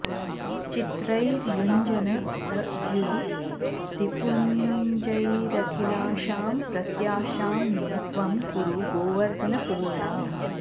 चित्रैर्युञ्जन स द्युतिपुञ्जैरखिलाशां प्रत्याशां मे त्वं कुरु गोवर्धन पूर्णाम्